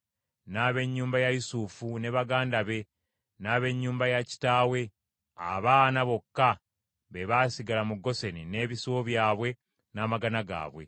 n’ab’ennyumba ya Yusufu, ne baganda be, n’ab’ennyumba ya kitaawe. Abaana bokka be baasigala mu Goseni n’ebisibo byabwe n’amagana gaabwe.